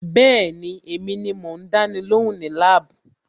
Bẹ́ẹ̀ni, èmi ni mò ń dáni lóhùn ní lab.